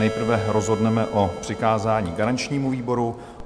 Nejprve rozhodneme o přikázání garančnímu výboru.